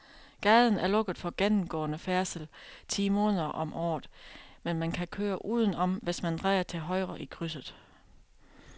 Gaden er lukket for gennemgående færdsel ti måneder om året, men man kan køre udenom, hvis man drejer til højre i krydset.